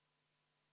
Aitäh!